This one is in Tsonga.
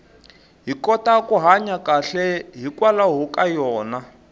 hi kota ku hanya kahle hikwalaho ka yona